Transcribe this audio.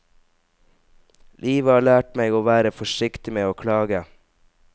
Livet har lært meg å være forsiktig med å klage.